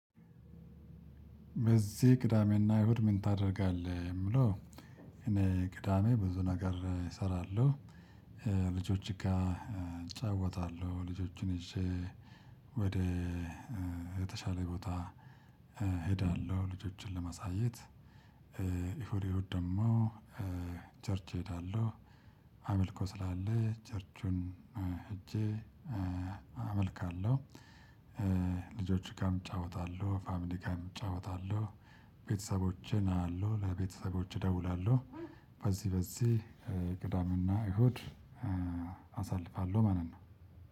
በዚህ ቅዳሜና አይሁድ ምን ታደርጋለህ የምለው? እኔ ቅዳሜ ብዙ ነገር እሰራለሁ። ልጆች ጋር እጫወታለሁ ልጆችን ይዤ ወደ የተሻለ ቦታ እሄዳለሁ ልጆችን ለማሳየት። እሁድ እሁድ ደግሞ ቸርች እሄዳለሁ አመልኮ ስላለ ቸርቹን እጄ አመልካለሁ። ልጆች ጋርም እጫወታለሁ ፋሚሊ ጋርም እጫወታለሁ። ቤተሰቦቼን አያለሁ ለቤተሰቦቼ እደውላለሁ። በዚህ በዚህ ቅዳሜና እሁድ አሳልፋለሁ ማለት ነው።